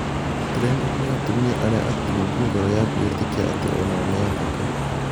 "Tũrenda kũhe atumia arĩa atungũ ngoro ya kwĩĩtĩkia atĩ onao nĩ athaka".